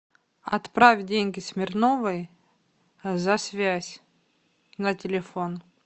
отправь деньги смирновой за связь на телефон